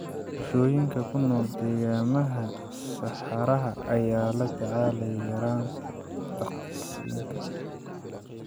Bulshooyinka ku nool deegaannada saxaraha ayaa la tacaalaya yaraanta daaqsinka.